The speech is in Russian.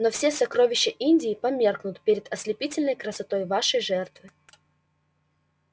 но все сокровища индии померкнут перед ослепительной красотой вашей жертвы